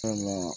Sabula